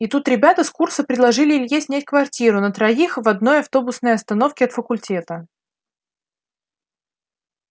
и тут ребята с курса предложили илье снять квартиру на троих в одной автобусной остановке от факультета